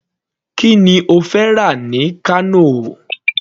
Kí ni ó fẹ́ rà ní Kano.